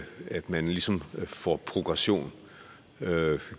man ligesom får progression